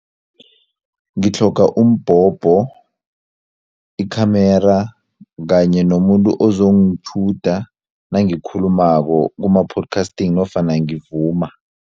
Ngitlhoga umbhobho, i-camera kanye nomuntu ozongitjhuda nangikhulumako kuma-podcasting nofana ngivuma.